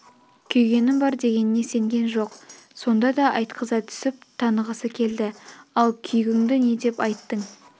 күйгенім бар дегеніне сенген жоқ сонда да айтқыза түсіп танығысы келді ал күйгіңді не деп айттың